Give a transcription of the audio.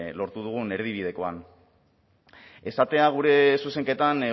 lortu dugun erdibidekoan esatea gure zuzenketan